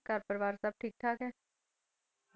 ਘਰ ਪਰਿਵਾਰ ਸੱਭ ਠੀਕ ਠਾਕ ਹੈ?